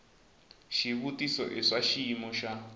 xivutiso i swa xiyimo xa